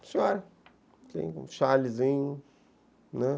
Senhora, tem um chalezinho, né.